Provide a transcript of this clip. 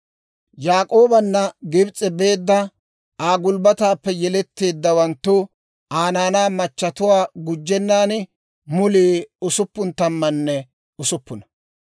Yaak'oobanna Gibs'e beedda, Aa gulbbataappe yeletteeddawanttu, Aa naanaa machatuwaa gujjennan, mulii usuppun tammanne usuppuna.